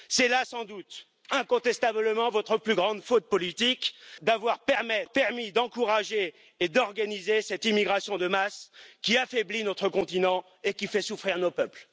C'est là, sans doute, incontestablement, votre plus grande faute politique d'avoir permis d'encourager et d'organiser cette immigration de masse, qui affaiblit notre continent et qui fait souffrir nos peuples.